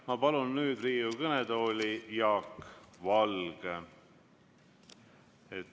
Ma palun nüüd Riigikogu kõnetooli Jaak Valge.